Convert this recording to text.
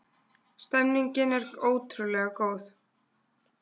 Stemningin er ótrúlega góð.